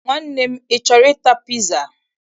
Nwanne m, ị chọrọ ịta piza?